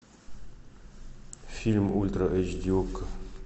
фильм ультра эйч ди окко